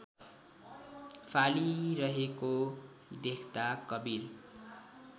फालिरहेको देख्दा कवीर